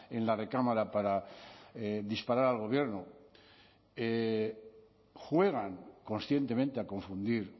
en la recámara para disparar al gobierno juegan conscientemente a confundir